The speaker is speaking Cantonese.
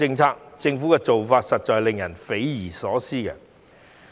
政府的做法實在令人匪夷所思。